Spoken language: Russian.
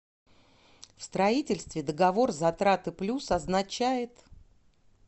в строительстве договор затраты плюс означает